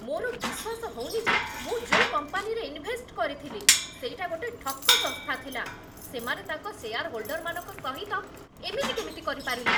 ମୋର ବିଶ୍ୱାସ ହଉନି ଯେ ମୁଁ ଯୋଉ କମ୍ପାନୀରେ ଇନ୍‌ଭେଷ୍ଟ କରିଥିଲି, ସେଇଟା ଗୋଟେ ଠକ ସଂସ୍ଥା ଥିଲା । ସେମାନେ ତାଙ୍କ ଶେୟାରହୋଲ୍ଡରମାନଙ୍କ ସହିତ ଏମିତି କେମିତି କରିପାରିଲେ?